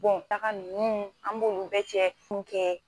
Bɔn taga nunnu an b'olu bɛ cɛ fu kɛ